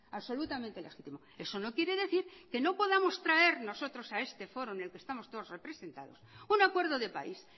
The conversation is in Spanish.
absolutamente legítimo eso no quiere decir que no podamos traer nosotros a este foro en el que estamos todos representados un acuerdo de país